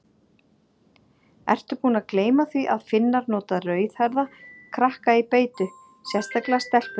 Ertu búin að gleyma því að Finnar nota rauðhærða krakka í beitu, sérstaklega stelpur?